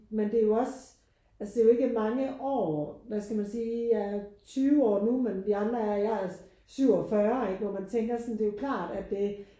Men det er jo også altså det er jo ikke mange år hvad skal man sige jeg er 20 år nu men vi andre er jeg er 47 ikke og man tænker sådan det er jo klart at det